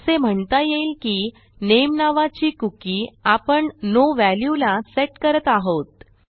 असे म्हणता येईल की नामे नावाची कुकी आपण नो वॅल्यू ला सेट करत आहोत